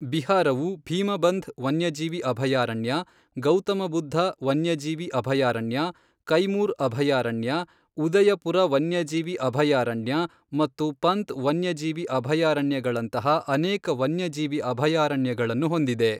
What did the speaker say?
ಬಿಹಾರವು ಭೀಮಬಂಧ್ ವನ್ಯಜೀವಿ ಅಭಯಾರಣ್ಯ, ಗೌತಮ ಬುದ್ಧ ವನ್ಯಜೀವಿ ಅಭಯಾರಣ್ಯ, ಕೈಮೂರ್ ಅಭಯಾರಣ್ಯ, ಉದಯಪುರ ವನ್ಯಜೀವಿ ಅಭಯಾರಣ್ಯ ಮತ್ತು ಪಂತ್ ವನ್ಯಜೀವಿ ಅಭಯಾರಣ್ಯಗಳಂತಹ ಅನೇಕ ವನ್ಯಜೀವಿ ಅಭಯಾರಣ್ಯಗಳನ್ನು ಹೊಂದಿದೆ.